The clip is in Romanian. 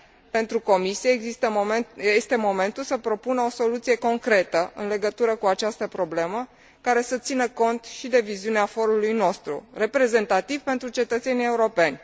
Pentru Comisie, este momentul să propună o soluție concretă în legătură cu această problemă, care să țină cont și de viziunea forului nostru, reprezentativ pentru cetățenii europeni.